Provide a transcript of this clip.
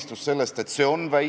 "Jou-jou, YOLO, täitsa cool seadus!